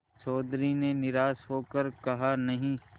चौधरी ने निराश हो कर कहानहीं